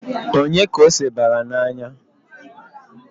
Onye ka ose bara n'anya?